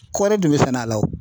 Kɔɔri dun bɛ sɛnɛ a la o.